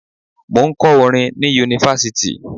Mò ń kọ́ orin ni Yunifásítì.